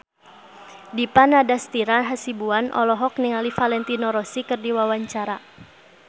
Dipa Nandastyra Hasibuan olohok ningali Valentino Rossi keur diwawancara